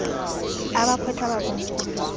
abakhweetha bakomkhulu bathe